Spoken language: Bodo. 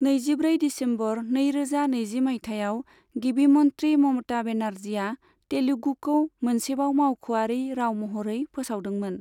नैजिब्रै दिसेम्बर नैरोजा नैजि मायथाइयाव, गिबि मन्थ्रि ममता बेनार्जीआ तेलुगुखौ मोनसेबाव मावख'आरि राव महरै फोसावदोंमोन।